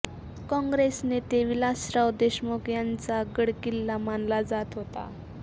काँग्रेस नेते विलासराव देशमुख यांचा गडकिल्ला मानला जात होता